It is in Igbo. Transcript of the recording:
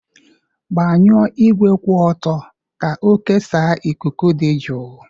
Gbanwuo igwe kwụ ọtọ ka ọ kesaa ikuku dị jụụ.